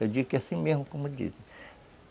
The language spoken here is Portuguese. Eu digo que é assim mesmo como dizem.